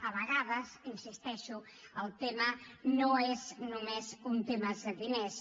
a vegades hi insisteixo el tema no és només un tema de diners